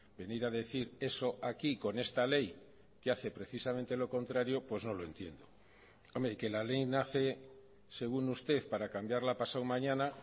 venir a decir eso aquí con esta ley que hace precisamente lo contrario pues no lo entiendo hombre que la ley nace según usted para cambiarla pasado mañana